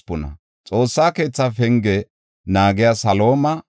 Oza yara, Faseeha yara, Besaya yara,